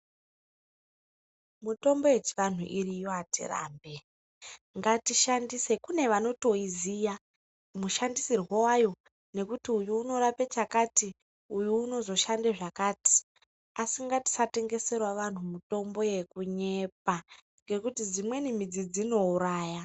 Mitombo yechianhu iriyo, hatirambe ngatishandise, kunevanotoyiziya mushandisiro hwayo ngekuti uyu unorape chakati, uyu unozoshande zvakati. Asi ngatisatengesere vanhu mutombo yekunyepa ngekuti dzimweni midzi dzinouraya.